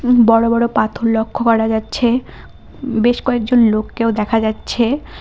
উম বড়ো বড়ো পাথর লক্ষ্য করা যাচ্ছে বে-বেশ কয়েকজন লোককেও দেখা যাচ্ছে।